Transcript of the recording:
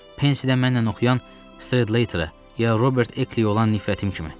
Pensiyada mənimlə oxuyan Stredlaterə, ya Robert Ekliyə olan nifrətim kimi.